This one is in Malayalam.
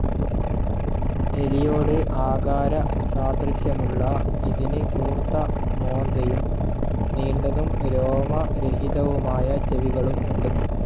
എലിയോട് ആകാരസാദൃശ്യമുള്ള ഇതിന് കൂർത്ത മോന്തയും, നീണ്ടതും രോമരഹിതവുമായ ചെവികളും ഉണ്ട്.